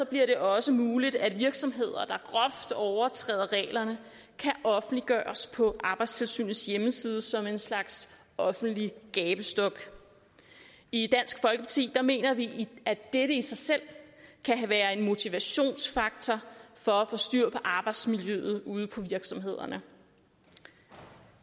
det også muligt at virksomheder der groft overtræder reglerne kan offentliggøres på arbejdstilsynets hjemmeside som en slags offentlig gabestok i dansk folkeparti mener vi at dette i sig selv kan være en motivationsfaktor for at få styr på arbejdsmiljøet ude på virksomhederne